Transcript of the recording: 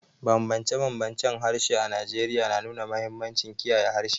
Bambance-bambancen harshe a Najeriya na nuna mahimmancin kiyaye harshe.